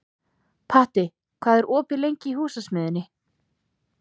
Patti, hvað er opið lengi í Húsasmiðjunni?